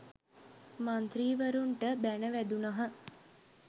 මන්ත්‍රීවරුන්ට බැණ වැදුණහ